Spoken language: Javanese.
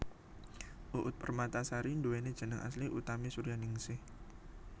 Uut Permatasari nduwéni jeneng asli Utami Suryaningsih